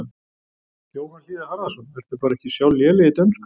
Jóhann Hlíðar Harðarson: Ertu bara ekki sjálf léleg í dönsku?